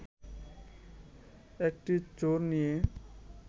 একটি চোর নিয়ে